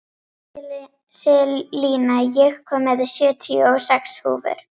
Selina, ég kom með sjötíu og sex húfur!